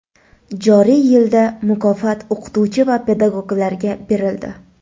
Joriy yilda mukofot o‘qituvchi va pedagoglarga berildi.